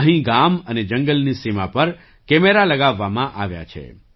અહીં ગામ અને જંગલની સીમા પર કેમેરા લગાવવામાં આવ્યા છે